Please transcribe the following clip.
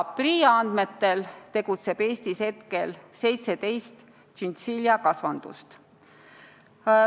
PRIA andmetel tegutseb Eestis 17 tšintšiljakasvandust.